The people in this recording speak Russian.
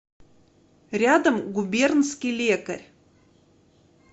рядом губернский лекарь